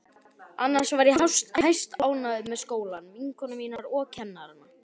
Annars var ég hæstánægð með skólann, vinkonur mínar og kennarana.